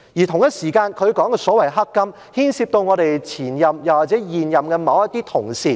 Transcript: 同一時間，她所說的所謂"黑金"，牽涉到前任或現任某些同事。